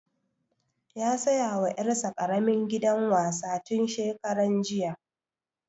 Ya saya wa ƴar sa ƙaramin gidan wasa tun shekaran jiya